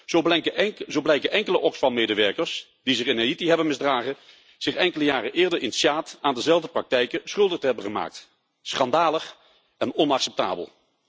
Zo blijken enkele Oxfam medewerkers die zich in Haïti hebben misdragen zich enkele jaren eerder in Tsjaad aan dezelfde praktijken schuldig te hebben gemaakt. Schandalig en onacceptabel.